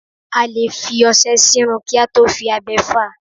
A lè fi ọṣẹ sírun kí a tó fi abẹ fá a.